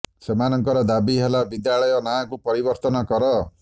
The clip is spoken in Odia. ସେମାନଙ୍କର ଦାବି ହେଲା ବିଦ୍ୟାଳୟ ନାଁ କୁ ପରିବର୍ତନ କର